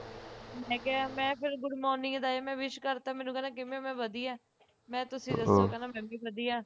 ਮੈਂ ਕਿਹਾ ਮੈਂ ਫੇਰ good morning ਦਾ ਮੈਂ wish ਕਰਤਾ ਮੈਨੂੰ ਕਹਿੰਦਾ ਕਿਵੇਂ ਮੈਂ ਕਿਹਾ ਵਧਿਆ ਮੈਂ ਕਹਿ ਤੁਸੀਂ ਦੱਸੋ ਕਹਿੰਦਾ ਮੈਂ ਵੀ ਵਧਿਆ